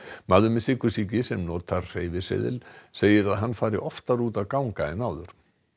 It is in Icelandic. maður með sykursýki sem notar hreyfiseðil segir að hann fari oftar út að ganga en áður